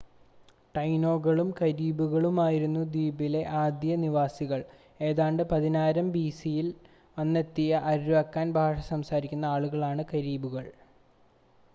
ടൈനോകളും കരീബുകളുമായിരുന്നു ദ്വീപിലെ ആദ്യ നിവാസികൾ. ഏതാണ്ട് 10,000 bce-ൽ വന്നെത്തിയ അര്വാക്കാൻ ഭാഷ സംസാരിക്കുന്ന ആളുകളാണ് കരീബുകൾ